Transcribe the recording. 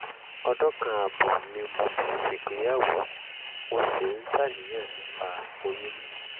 ọdún kan ààbọ̀ ni mo ti ṣègbéyàwó mo sì ń ṣàníyàn nípa oyún níní